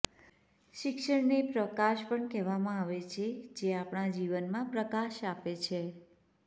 શિક્ષણને પ્રકાશ પણ કહેવામાં આવે છે જે આપણા જીવનમાં પ્રકાશ આપે છે